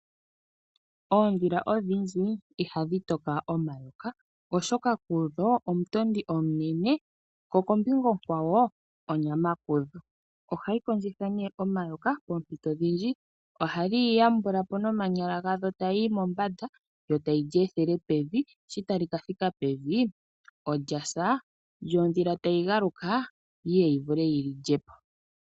Oondhila odhindji ihadhi toka omayoka, oshoka kudho omutondi omunene ko kombinga onkwawo onyama kuyo. Ohayi kondjitha nee omayoka poompito odhindji ohadhi yi yambula po nomanyala gadho ta yiyi mombanda yo tayi lyi ethele pevi, sho tali kathika pevi olyasa yo ondhila tayi galuka yiye yi vule liyi lyepo.